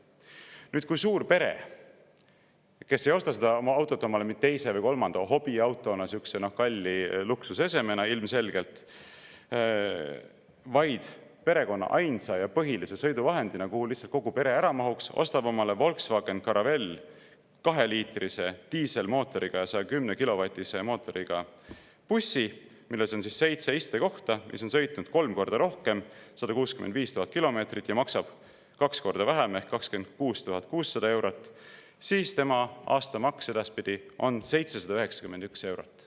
Nüüd, kui suurpere, kes ei osta autot omale teise või kolmanda hobiautona, sihukese kalli luksusesemena ilmselgelt, vaid perekonna ainsa ja põhilise sõiduvahendina, kuhu lihtsalt kogu pere ära mahuks, ostab omale Volkswagen Caravelle, 2-liitrise diiselmootoriga ja 110-kilovatise mootoriga bussi, milles on seitse istekohta, mis on sõitnud kolm korda rohkem, 165 000 kilomeetrit ja maksab kaks korda vähem ehk 26 600 eurot, siis tema aastamaks edaspidi on 791 eurot.